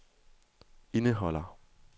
indeholder